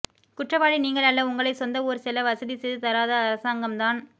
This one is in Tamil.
குற்றவாளி நீங்கள் அல்ல உங்களை சொந்த ஊர் செல்ல வசதி செய்து தராத அரசாங்கம் தான்